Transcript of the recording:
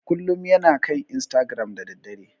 Kullum yana kan istagiram da daddare.